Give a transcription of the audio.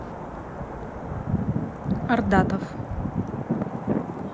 ардатов